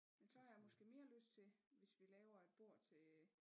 Men så har jeg måske mere lyst til hvis vi laver et bord til